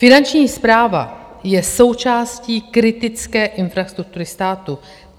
Finanční správa je součástí kritické infrastruktury státu.